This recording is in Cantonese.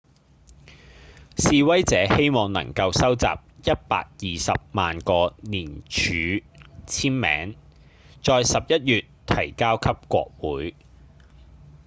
示威者希望能夠收集一百二十萬個連署簽名在十一月提交給國會